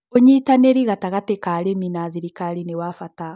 ũnyitanĩri gatagatĩ ka arĩmi na thirikari nĩ wa bata